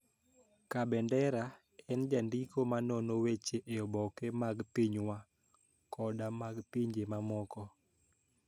Kabendera, en jandiko ma nono weche e oboke mag pinywa koda mag pinje mamoko,